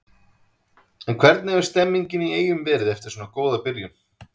En hvernig hefur stemningin í Eyjum verið eftir svona góða byrjun?